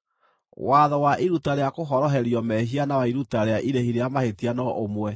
“ ‘Watho wa iruta rĩa kũhoroherio mehia na wa iruta rĩa irĩhi rĩa mahĩtia no ũmwe: